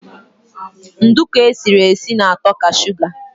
Nduku esiri esi na-ato ka suga